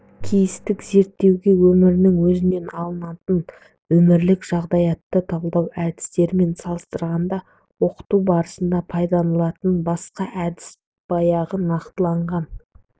кейстік зерттеуге өмірдің өзінен алынатын өмірлік жағдаяттарды талдау әдістермен салыстырғанда оқыту барысында пайдаланылатын басқа әдістер бааяғы нақтыланған